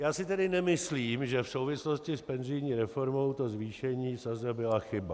Já si tedy nemyslím, že v souvislosti s penzijní reformou to zvýšení sazeb byla chyba.